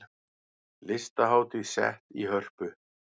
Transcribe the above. Listahátíð sett í Hörpu